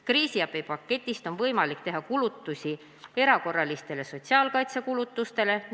Kriisiabipaketist on võimalik teha kulutusi erakorralistele sotsiaalkaitsekulutustele.